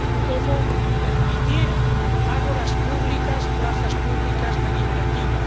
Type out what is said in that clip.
cómo permitir ágoras públicas, plazas públicas deliberativas.